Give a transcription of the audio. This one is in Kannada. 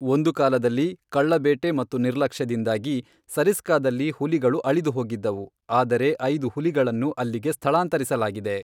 ಒಂದು ಕಾಲದಲ್ಲಿ, ಕಳ್ಳಬೇಟೆ ಮತ್ತು ನಿರ್ಲಕ್ಷ್ಯದಿಂದಾಗಿ, ಸರಿಸ್ಕಾದಲ್ಲಿ ಹುಲಿಗಳು ಅಳಿದುಹೋಗಿದ್ದವು, ಆದರೆ ಐದು ಹುಲಿಗಳನ್ನು ಅಲ್ಲಿಗೆ ಸ್ಥಳಾಂತರಿಸಲಾಗಿದೆ.